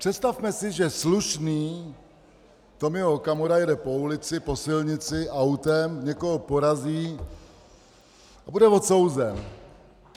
Představme si, že slušný Tomio Okamura jede po ulici, po silnici autem, někoho porazí a bude odsouzen.